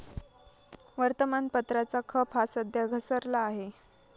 वर्तमानपत्राचा खप हा सध्या घसरला आहे.